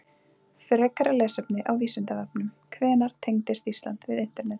Frekara lesefni á Vísindavefnum: Hvenær tengdist Ísland við internetið?